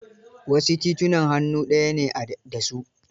Wasu titunan hannu daya ne da su.